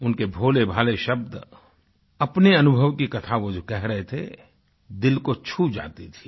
उनके भोलेभाले शब्द अपने अनुभव की कथा वो जो कह रहे थे दिल को छू जाती थी